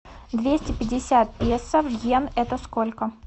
двести пятьдесят песо в йен это сколько